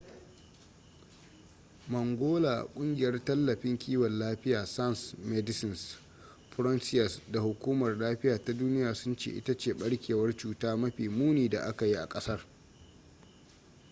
mangola kungiyar tallafin kiwon lafiya sans medecines frontieres da hukumar lafiya ta duniya sun ce ita ce barkewar cuta mafi muni da aka yi a kasar